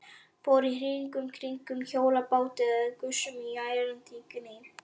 Fór hring í kringum hjólabátinn með gusum og ærandi gný.